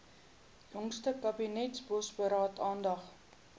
jongste kabinetsbosberaad aandag